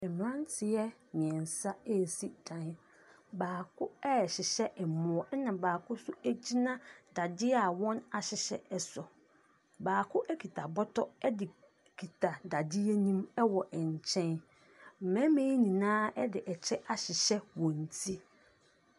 Mmeranteɛ mmeɛnsa resi dan. Baako rehyehyɛ aboɔ na baako nso gyina dadeɛ a wɔahyehyɛ so. Baako kita bɔtɔ de kita dadeɛ no mu wɔ nkyɛn. Mmarima yi nyinaa de kyɛ ahyehyɛ wɔ ti.